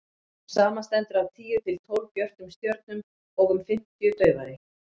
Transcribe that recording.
hún samanstendur af tíu til tólf björtum stjörnum og um fimmtíu daufari